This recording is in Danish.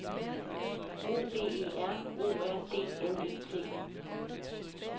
O V E R O R D N E T